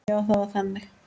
Já, það var þannig.